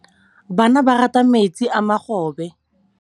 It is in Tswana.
Bana ba rata metsi a mogobe.